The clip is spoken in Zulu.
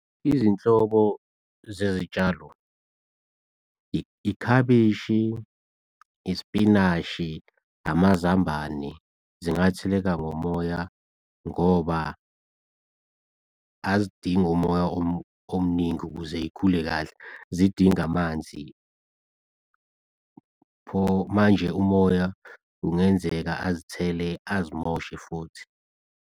Izinhloko zezitshalo ikhabishi, isipinashi, amazambane zingatheleka ngomoya ngoba azidingi umoya omningi ukuze y'khule kahle zidinga amanzi. Pho manje umoya kungenzeka azithele azimoshe futhi.